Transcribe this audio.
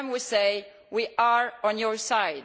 To them we say We are on your side